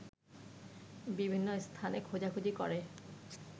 বিভিন্ন স্থানে খোঁজাখুঁজি করে